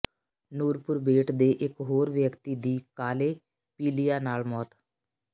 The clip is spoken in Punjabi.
ਨੂਰਪੁਰ ਬੇਟ ਦੇ ਇਕ ਹੋਰ ਵਿਅਕਤੀ ਦੀ ਕਾਲੇ ਪੀਲੀਆ ਨਾਲ ਮੌਤ